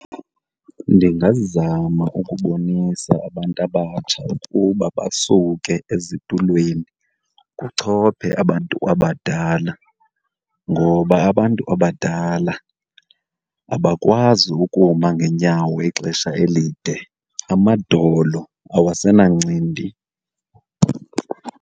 Ndingazama ukubonisa abantu abatsha ukuba basuke ezitulweni kuchophe abantu abadala. Ngoba abantu abadala abakwazi ukuma ngeenyawo ixesha elide, amadolo awasenancindi.